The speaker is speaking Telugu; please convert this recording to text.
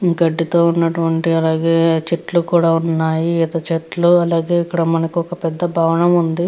గడ్డి తో ఉన్నటువంటి అలాగే చెట్లు కూడా ఉన్నాయి. ఈత చెట్లు అలాగే ఇక్కడ మనకి ఒక భవనం ఉంది.